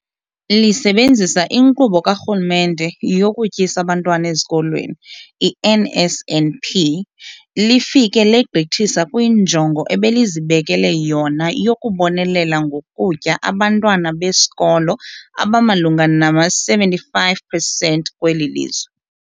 Lisebenzisa iNkqubo kaRhulumente yokuTyisa Abantwana Ezikolweni, i-NSNP, lifike legqithisa kwinjongo ebelizibekele yona yokubonelela ngokutya abantwana besikolo abamalunga nama-75 percent kweli lizwe.